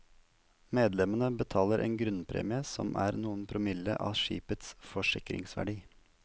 Medlemmene betaler en grunnpremie som er noen promille av skipets forsikringsverdi.